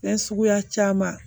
Fɛn suguya caman